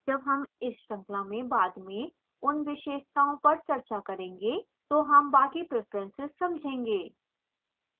जब हम इस श्रृंखला में बाद में उन विशेषताओं पर चर्चा करेंगे तो हम बाकी preferences समझेंगे